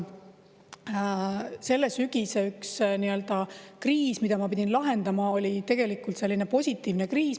Selle sügise üks nii-öelda kriis, mida ma pidin lahendama, oli tegelikult selline positiivne kriis.